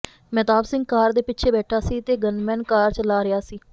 Mehtab Singh car ਦੇ ਪਿੱਛੇ ਬੈਠਾ ਸੀ ਤੇ ਗੰਨਮੈਨ ਕਾਰ ਚਲਾ ਰਿਹਾ ਸੀ